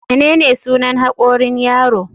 Menene sunan hakorin yaro?